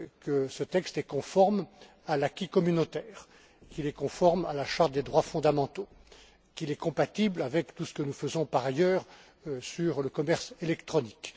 qu'il est conforme à l'acquis communautaire, qu'il est conforme à la charte des droits fondamentaux, qu'il est compatible avec tout ce que nous faisons par ailleurs sur le commerce électronique.